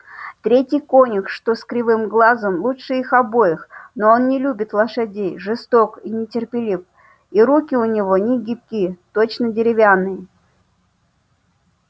третий конюх что с кривым глазом лучше их обоих но он не любит лошадей жесток и нетерпелив и руки у него не гибки точно деревянные